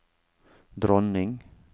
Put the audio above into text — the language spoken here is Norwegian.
dronning